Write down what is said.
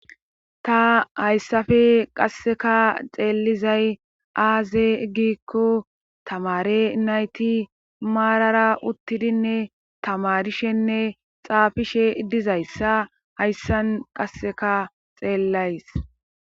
ta hayssafe qasseka xeelizay aaze giikko tamare nayti maarara uttidinne tamarishenne xaafishe dizayssa hayssan qasseka xeellays